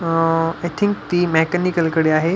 अह I think ते mechanical कडे आहे.